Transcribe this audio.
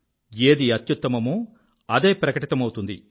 ఏది అత్యుత్తమమో అదే ప్రకటితమౌతుంది